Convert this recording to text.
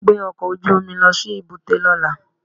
Gbé ọkọ̀ ojú omi lọ sí èbúté lọ́la